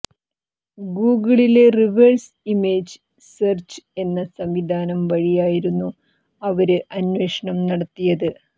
Google reverse image search എന്ന സംവിധാനം വഴിയായിരുന്നു അവര് അന്വേഷണം നടത്തിയത്